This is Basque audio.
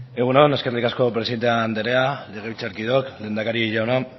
egun on eskerrik asko presidente andrea legebiltzarkideok lehendakari jauna